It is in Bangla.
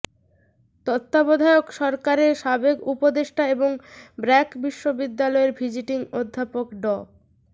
তত্ত্বাবধায়ক সরকারের সাবেক উপদেষ্টা এবং ব্র্যাক বিশ্ববিদ্যালয়ের ভিজিটিং অধ্যাপক ড